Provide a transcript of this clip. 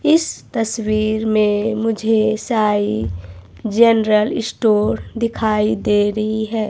इस तस्वीर में मुझे साई जनरल स्टोर दिखाई दे रही है।